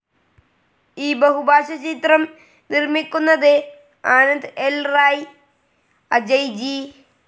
ഈ ബഹുഭാഷ ചിത്രം നിർമ്മിക്കുന്നത് ആനന്ദ് ൽ റായ്, അജയ് ജി.